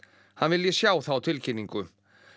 hann vilji sjá þá tilkynningu